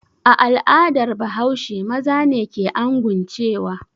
A al'adar Bahaushe maza ne ke anguncewa.